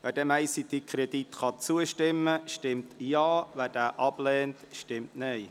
Wer diesem ICT-Kredit zustimmen kann, stimmt Ja, wer diesen ablehnt, stimmt Nein.